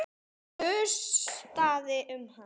Það gustaði um hann.